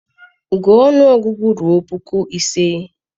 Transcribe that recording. gụọ ọnụọgụgụ ruo puku ise!